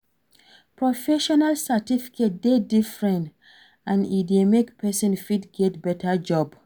Professional certificate de different and e de make persin fit get better job